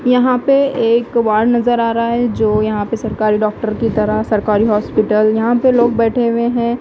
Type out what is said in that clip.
यहां पे एक वार्ड नजर आ रहा है जो यहां पे सरकारी डॉक्टर की तरह सरकारी हॉस्पिटल यहां पे लोग बैठे हुए हैं।